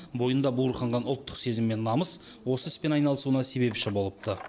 бойында буырқанған ұлттық сезім мен намыс осы іспен айналысуына себепші болыпты